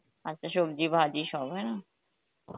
আচ্ছা সবজি ভাজি সব হ্যাঁ